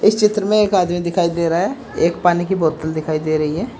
इस चित्र में एक आदमी दिखाई दे रहा है एक पानी की बोतल दिखाई दे रही है।